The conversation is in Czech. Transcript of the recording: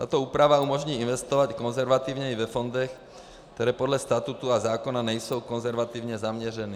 Tato úprava umožní investovat i konzervativněji ve fondech, které podle statutu a zákona nejsou konzervativně zaměřeny.